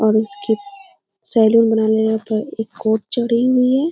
और उसके सैलून में एक चढ़ी हुई है।